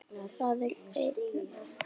Það er engin heppni.